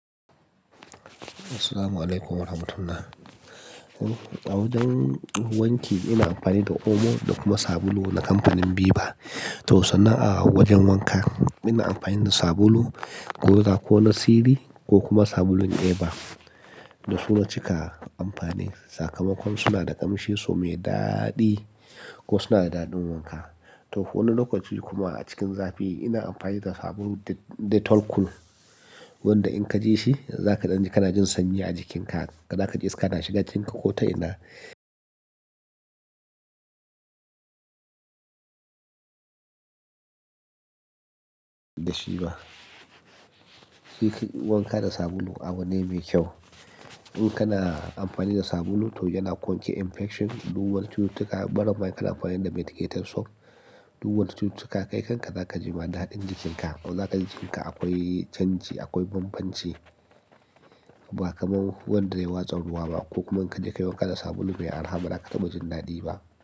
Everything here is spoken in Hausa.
Assalamu'alaikum warahmatullah. Wanki ina amfani da omo da kuma sabulu na kamfanin viva. To sannan a wajen wanka ina amfani da sabulu ko da ko na Siri ko kuma sabulun Eva da suna cika amfani. Sakamakon suna da ƙamshi su mai daɗi ko suna da daɗin wanka. To wani lokaci kuma a cikin zafi ina amfani da sabulun Dettol cool, wanda in ka ji shi za ka ɗan ji kana jin sanyi a jikinka. Za ka ji iska na shiga jinkin ka ko ta ina da shi ba. Shi wanka da sabulu abu ne mai kyau. In kana amfani da sabulu to yana ƙonki infection, duwan cututtuka. Ɓara ma in kana amfani da medicated soap, duwan cututtuka. Kai kanka za ka ji ma daɗin jikinka. To za ka ji jikinka akwai canji, akwai bambanci. Ba kamar wanda dai ya watsa ruwa ba ko kuma in ka je ka yi wanka da sabulu bai arraha ba da ka taba jinnadi ba.